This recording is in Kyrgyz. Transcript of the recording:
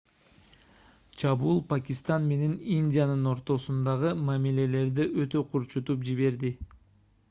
чабуул пакистан менен индиянын ортосундагы мамилелерди өтө курчутуп жиберди